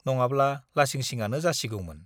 नङाब्ला लासिंसिंआनो जासिगौमोन।